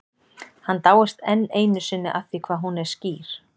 Hann dáist enn einu sinni að því hvað hún er skýr.